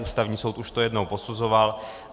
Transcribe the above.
Ústavní soud už to jednou posuzoval.